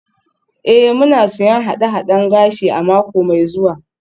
Ee, muna siyan haɗe-haɗen gashi a mako mai zuwa.